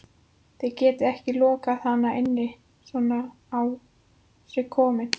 Þið getið ekki lokað hann inni svona á sig kominn